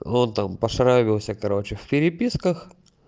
он там пошараёбился короче в переписках